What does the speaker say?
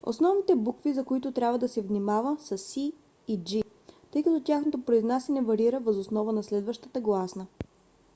основните букви за които трябва да се внимава са c и g тъй като тяхното произнасяне варира въз основа на следващата гласна